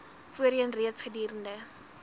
voorheen reeds gedurende